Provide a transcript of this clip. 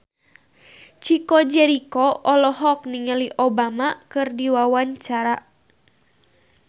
Chico Jericho olohok ningali Obama keur diwawancara